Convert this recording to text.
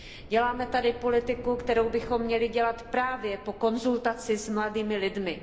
Děláme tady politiku, kterou bychom měli dělat právě po konzultaci s mladými lidmi.